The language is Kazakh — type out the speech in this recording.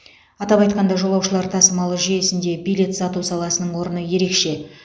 атап айтқанда жолаушылар тасымалы жүйесінде билет сату саласының орны ерекше